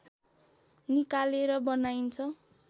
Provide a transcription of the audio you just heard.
निकालेर बनाइन्छ